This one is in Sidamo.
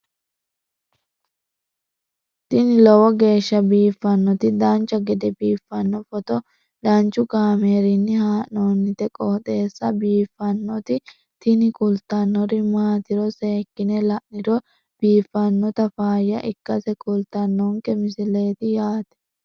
tini lowo geeshsha biiffannoti dancha gede biiffanno footo danchu kaameerinni haa'noonniti qooxeessa biiffannoti tini kultannori maatiro seekkine la'niro biiffannota faayya ikkase kultannoke misileeti yaate